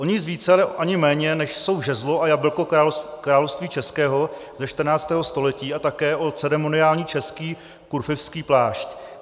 O nic více ani méně, než jsou žezlo a jablko Království českého ze 14. století, a také o ceremoniální český kurfiřtský plášť.